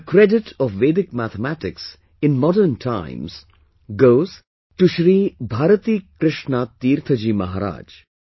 The credit of Vedic mathematics in modern times goes to Shri Bharati Krishna Tirtha Ji Maharaj